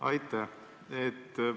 Aitäh!